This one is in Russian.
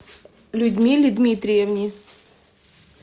людмиле дмитриевне